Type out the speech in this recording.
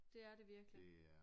Det er det virkelig